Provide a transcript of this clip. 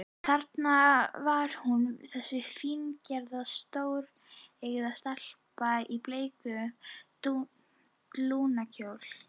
Þarna var hún, þessi fíngerða, stóreygða stelpa í bleikum blúndukjól.